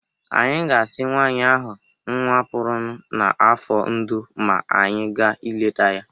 Anyị ga-asi nwaanyị ahụ nnwa pụrụ n n'afọ ndo ma anyị gaa ịleta ya